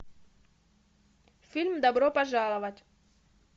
фильм добро пожаловать